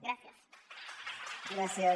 gràcies